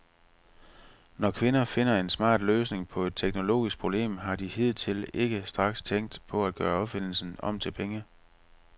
Når kvinder finder en smart løsning på et teknologisk problem, har de hidtil ikke straks tænkt på at gøre opfindelsen om til penge.